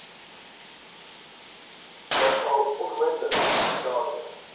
ookal onmiddellik daarmee